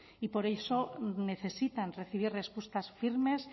y por eso necesitan recibir respuestas firmes